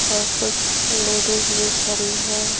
और कुछ लेडीज भी खड़ी हैं।